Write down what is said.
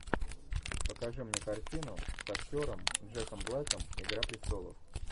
покажи мне картину с актером джеком блеком игра престолов